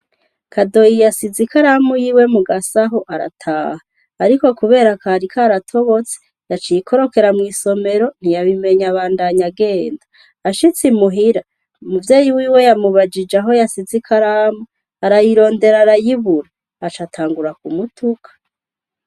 Kadoyi yasize ikaramu yiwe mu gasaho arataha ariko kubera kari karatobotse yaciye ikorokera mw'isomero ntiyabimenya abandanya agenda ashitse muhira umuvyeyi wiwe yamubajije aho yasize ikaramu arayirondera arayibura aca atangura ku mutuka.